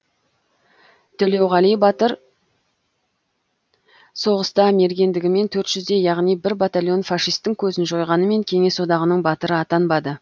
төлеуғали батыр соғыста мергендігімен төрт жүздей яғни бір батальон фашистің көзін жойғанымен кеңес одағының батыры атанбады